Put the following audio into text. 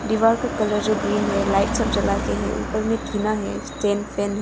डीवार का कलर जो ग्रीन है लाइट सब जलाके हैं ऊपर में टीना है स्टैंड फैन है।